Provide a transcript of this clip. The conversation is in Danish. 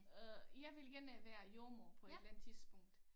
Øh jeg vil gerne være jordemoder på et eller andet tidspunkt